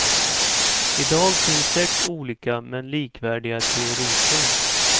I dag finns sex olika men likvärdiga teoriprov.